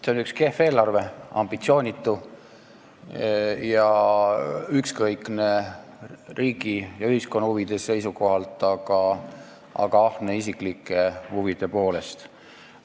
See on üks kehv eelarve – ambitsioonitu ja ükskõikne riigi ja ühiskonna huvide vastu, aga ahne isiklike huvide silmaspidamisel.